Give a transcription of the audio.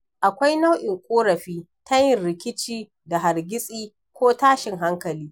Akwai naiu'in ƙorafi na yin rikici da hargitsi ko tashin hankali.